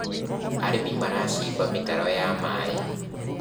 arĩmi maracimba mitaro ya maĩ